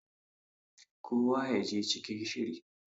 kowa ya je cikin shiri!